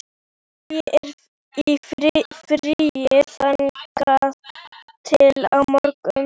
Ég er í fríi þangað til á morgun.